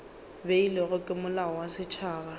beilwego ke molao wa setšhaba